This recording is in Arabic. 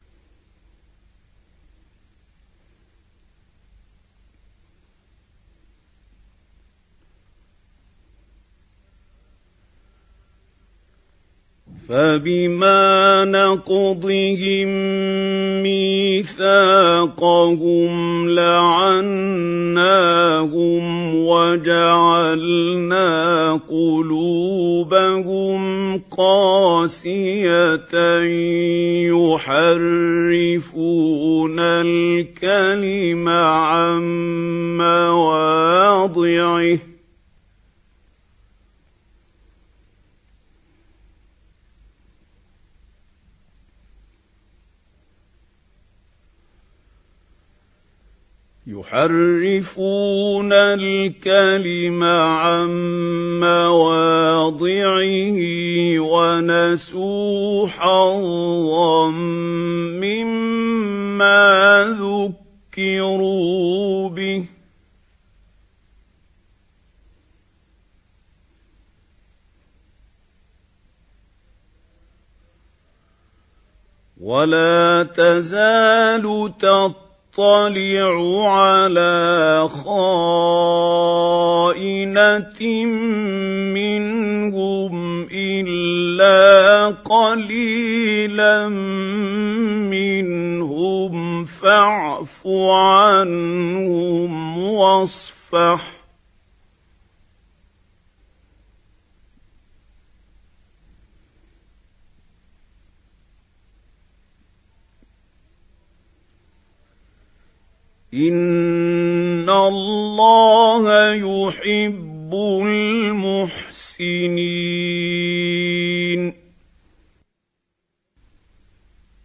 فَبِمَا نَقْضِهِم مِّيثَاقَهُمْ لَعَنَّاهُمْ وَجَعَلْنَا قُلُوبَهُمْ قَاسِيَةً ۖ يُحَرِّفُونَ الْكَلِمَ عَن مَّوَاضِعِهِ ۙ وَنَسُوا حَظًّا مِّمَّا ذُكِّرُوا بِهِ ۚ وَلَا تَزَالُ تَطَّلِعُ عَلَىٰ خَائِنَةٍ مِّنْهُمْ إِلَّا قَلِيلًا مِّنْهُمْ ۖ فَاعْفُ عَنْهُمْ وَاصْفَحْ ۚ إِنَّ اللَّهَ يُحِبُّ الْمُحْسِنِينَ